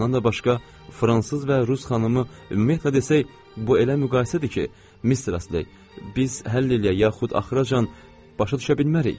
Bundan da başqa, fransız və rus xanımı, ümumiyyətlə desək, bu elə müqayisədir ki, Mistress Ley, biz həll eləyək, yaxud axıracan başa düşə bilmərik.